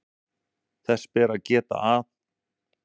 Þess ber að geta að